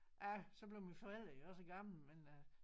Ja så blev mine forældre jo også gamle men øh